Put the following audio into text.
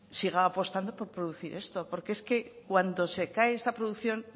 siga apostando por producir esto porque es cuando se cae esta producción